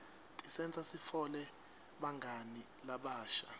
tisenta sitfole bangani labasha